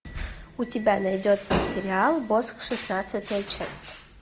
у тебя найдется сериал босх шестнадцатая часть